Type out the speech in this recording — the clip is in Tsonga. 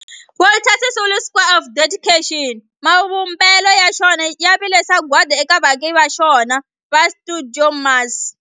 Walter Sisulu Square of Dedication, mavumbelo ya xona ya vile sagwadi eka vaaki va xona va stuidio MAS.